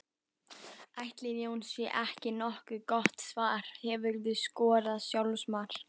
Ætli Jói sé ekki nokkuð gott svar Hefurðu skorað sjálfsmark?